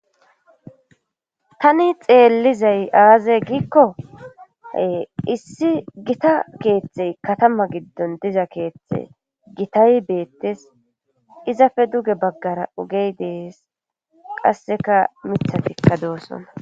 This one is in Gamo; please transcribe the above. tani xeellizay aaza giikkoe issi gita keeththey katama giddon diza keeththe gitay beettes izafe duge baggara ugey dees qasseka mithatikka doossonna